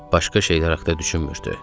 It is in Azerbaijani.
Başqa şeylər haqda düşünmürdü.